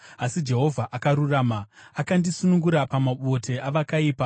Asi Jehovha akarurama, akandisunungura pamabote avakaipa.